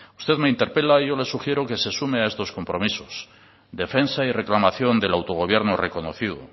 usted me interpela y yo le sugiero que se sume a estos compromisos defensa y reclamación del autogobierno reconocido